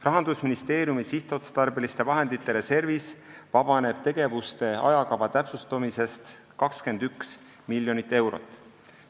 Rahandusministeeriumi sihtotstarbeliste vahendite reservis vabaneb tegevuste ajakava täpsustumisest 21 miljonit eurot.